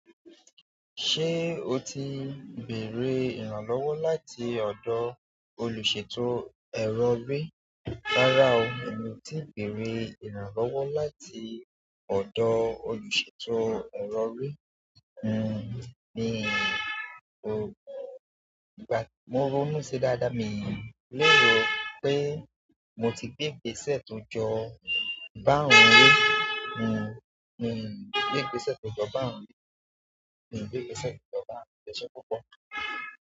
Ṣé o ti bèrè ìrànlọ́wọ́ láti ọ̀dọ̀ olùṣètò ẹrọ rí? Rárá o, èmi ti bèrè ìrànlọ́wọ́ láti ọ̀dọ̀ olùṣètò ẹrọ rí. N ò, ìgbà tí mo rọ́ mú ṣe dáadáa, mi lè rò pé mo ti gbé gbèsẹ̀ tó jọ bá òun rí. N ò, n gbé gbèsẹ̀ tó jọ bá òun rí. N gbé gbesẹ̀ to jọ bá òun rí.